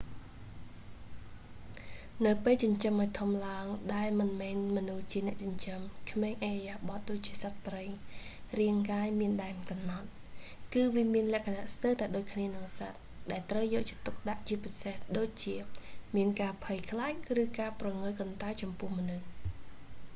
នៅពេលចិញ្ចឹមឱ្យធំឡើង ដែលមិនមែនមនុស្សជាអ្នកចិញ្ចឹម ក្មេងឥរិយាបទដូចជាសត្វព្រៃ រាងកាយមានដែនកំណត់ គឺវាមានលក្ខណៈស្ទើរតែដូចគ្នានឹងសត្វ ដែលត្រូវយកចិត្តទុកដាក់ជាពិសេសដូចជា មានការភ័យខ្លាច ឬការព្រងើយកន្តើយចំពោះមនុស្ស